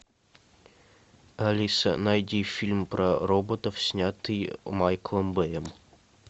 алиса найди фильм про роботов снятый майклом бэем